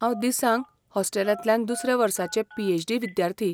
हांव दिसांग हॉस्टेलांतलें दुसऱ्या वर्साचें पी.एच.डी. विद्यार्थी.